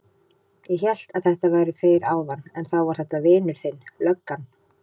Ég hélt að þetta væru þeir áðan en þá var þetta vinur þinn löggan.